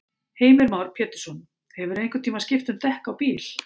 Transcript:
Heimir Már Pétursson: Hefurðu einhvern tímann skipt um dekk á bíl?